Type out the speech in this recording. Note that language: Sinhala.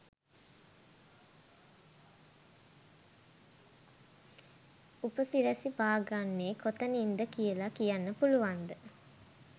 උප සිරැසි බාගන්නෙ කොතනින්ද කියල කියන්න පුලුවන්ද?